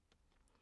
DR K